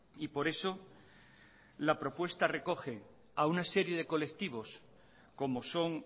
y por eso la propuesta recoge a una serie de colectivos como son